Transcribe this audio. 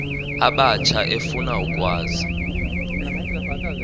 abatsha efuna ukwazi